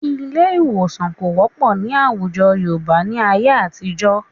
Ilé ì̀wòsàn kò wọ́pọ̀ ní àwùjọ Yorùbá ní ayé àtijọ́